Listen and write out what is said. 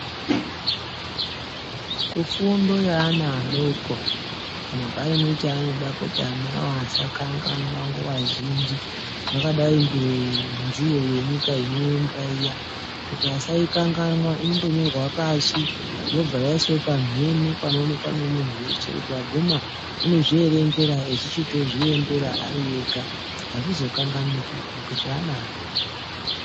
Kufundo yeana adoko kana paine chaanoda kuti ana awo asakanganwa nguwazhinji zvakadai ngenziyo yenyika inoembwa iya kuti asaikanganwa inotonyorwa pashi yobva yaiswa pamhene panoonekwa nemunhu weshe kuti waguma unozvierengera echitozviembera ari ega azvizokanganiki nekuti ana adoko.